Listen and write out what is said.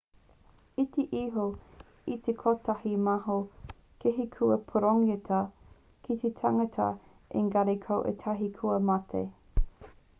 iti iho i te kotahi mano kēhi kua pūrongotia ki te tangata engari ko ētahi kua mate